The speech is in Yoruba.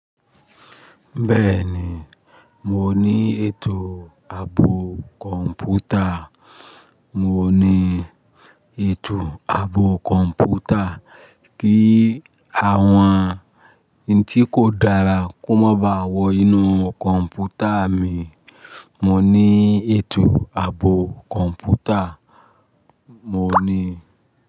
Bẹ́ẹ̀ni, mo ní ètò àbò computer. Mo ní ètò àbò computer kí àwọn ohun tí kò dára kó má ba à wọ inú computer mi. Mo ní ètò àbò computer, mo ní.